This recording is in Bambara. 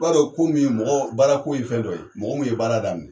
I b'a dɔn ko min ye mɔgɔɔ baarako ye fɛn dɔ ye, mɔgɔ mun ye baara daminɛ